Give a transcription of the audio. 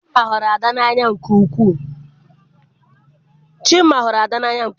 Chima hụrụ Ada n'anya nke ukwuu.